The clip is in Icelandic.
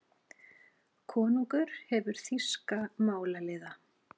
Konungur hefur þýska málaliða.